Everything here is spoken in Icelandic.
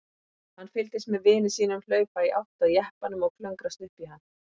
Hann fylgdist með vini sínum hlaupa í átt að jeppanum og klöngrast upp í hann.